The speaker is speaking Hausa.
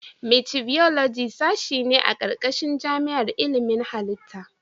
Micibiyoloji sashe ne a ƙarƙashin jami'ar ilimin halitta.